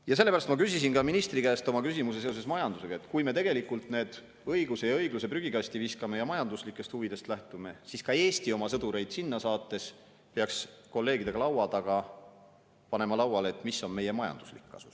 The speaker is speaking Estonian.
Ja sellepärast ma küsisin ka ministri käest oma küsimuse seoses majandusega, et kui me tegelikult õiguse ja õigluse prügikasti viskame ja majanduslikest huvidest lähtume, siis ka Eesti oma sõdureid sinna saates peaks kolleegidega laua taga panema lauale, mis on meie majanduslik kasu.